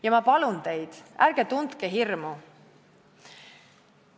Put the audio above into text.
Ja ma palun teid: ärge tundke hirmu!